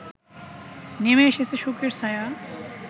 নেমে এসেছে শোকের ছায়া